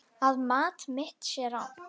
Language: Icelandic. Að mat mitt sé rangt.